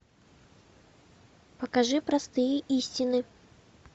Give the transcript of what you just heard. покажи простые истины